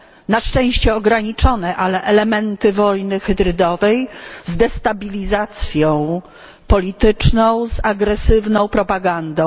Na szczęście ograniczone, ale z elementami wojny hybrydowej, z destabilizacją polityczną, z agresywną propagandą.